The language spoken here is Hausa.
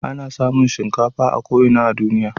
Ana samun shinkafa a ko ina a duniya.